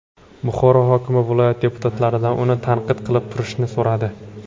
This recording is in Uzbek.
Buxoro hokimi viloyat deputatlaridan uni tanqid qilib turishni so‘radi.